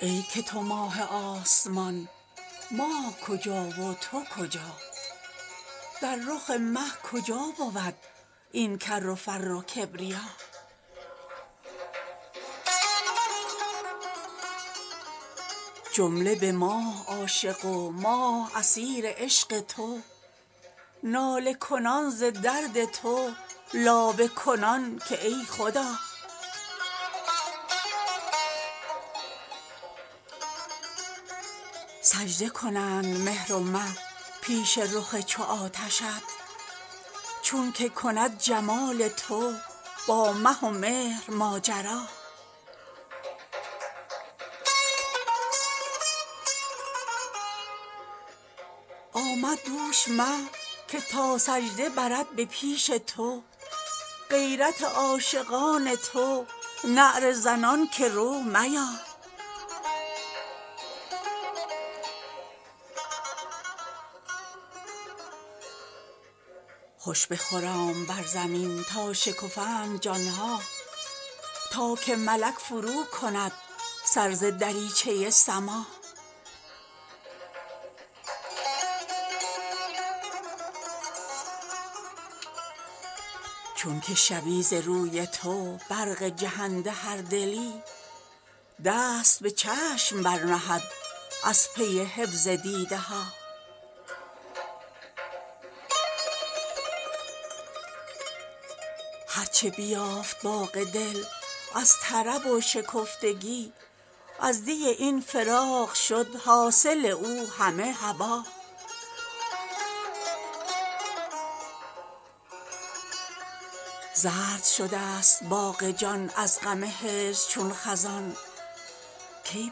ای که تو ماه آسمان ماه کجا و تو کجا در رخ مه کجا بود این کر و فر و کبریا جمله به ماه عاشق و ماه اسیر عشق تو ناله کنان ز درد تو لابه کنان که ای خدا سجده کنند مهر و مه پیش رخ چو آتشت چونک کند جمال تو با مه و مهر ماجرا آمد دوش مه که تا سجده برد به پیش تو غیرت عاشقان تو نعره زنان که رو میا خوش بخرام بر زمین تا شکفند جان ها تا که ملک فروکند سر ز دریچه سما چون که شود ز روی تو برق جهنده هر دلی دست به چشم برنهد از پی حفظ دیده ها هر چه بیافت باغ دل از طرب و شکفتگی از دی این فراق شد حاصل او همه هبا زرد شده ست باغ جان از غم هجر چون خزان کی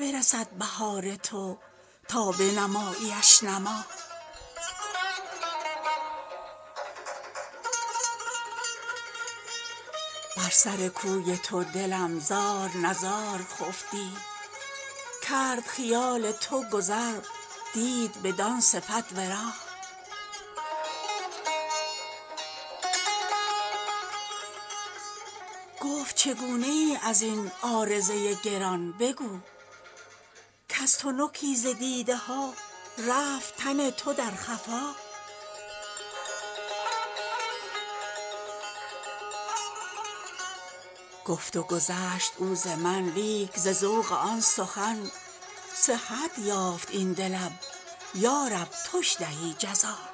برسد بهار تو تا بنماییش نما بر سر کوی تو دلم زار و نزار خفت دی کرد خیال تو گذر دید بدان صفت ورا گفت چگونه ای از این عارضه گران بگو کز تنکی ز دیده ها رفت تن تو در خفا گفت و گذشت او ز من لیک ز ذوق آن سخن صحت یافت این دلم یا رب توش دهی جزا